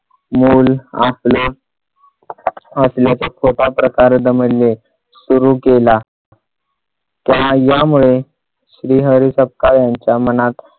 मुल आपले असल्याचे स्वतः प्रकारे दमडले सुरु केला. त्या यामुळे श्रीहरी सपकाळ यांच्या मनात